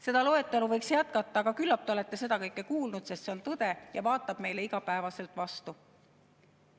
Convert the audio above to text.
Seda loetelu võiks jätkata, aga küllap te olete seda kõike kuulnud, sest see on tõde ja vaatab meile iga päev vastu.